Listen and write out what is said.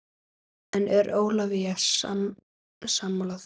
En er Ólafía sammála því?